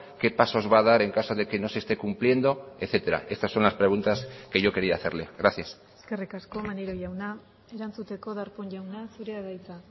qué pasos va a dar en caso de que no se esté cumpliendo etcétera estas son las preguntas que yo quería hacerle gracias eskerrik asko maneiro jauna erantzuteko darpón jauna zurea da hitza